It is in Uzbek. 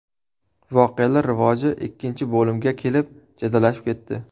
Voqealar rivoji ikkinchi bo‘limga kelib jadallashib ketdi.